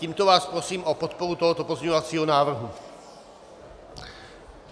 Tímto vás prosím o podporu tohoto pozměňovacího návrhu.